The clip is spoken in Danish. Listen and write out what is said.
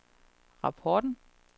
rapporten